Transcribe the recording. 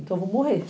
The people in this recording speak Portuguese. Então eu vou morrer.